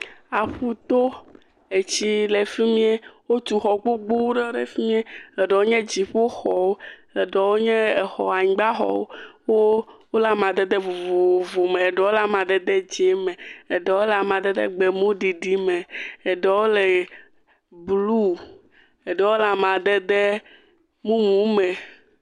Aƒuto, etsi le fi mie. Wotu xɔ gbogbowo ɖe fi mie. Eɖewo nye dziƒoxɔwo, eɖewo nye exɔ anyigba xɔwo, wole amadede vovovo me, eɖewo amadede dzɛ̃ me, eɖewo le amadede gbemu ɖiɖi me, eɖewo le blu, eɖewo le amadede mumu me.